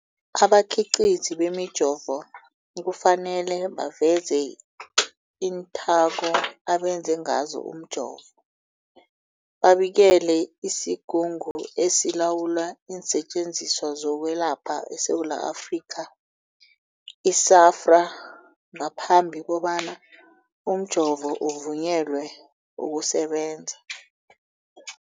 Abakhiqizi bemijovo kufanele baveze iinthako abenze ngazo umjovo, babikele isiGungu esiLawula iinSetjenziswa zokweLapha eSewula Afrika, i-SAHPRA, ngaphambi kobana umjovo uvunyelwe ukusebenza.